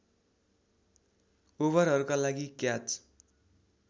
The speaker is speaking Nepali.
ओभरहरूका लागि क्याच